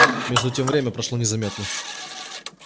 между тем время прошло незаметно